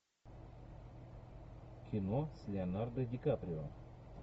кино с леонардо ди каприо